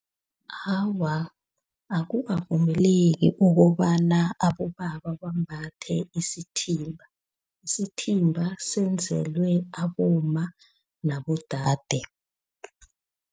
Awa, akukavumeleki ukobana abobaba bambathe isithimba. Isithimba senzelwe abomma nabodade.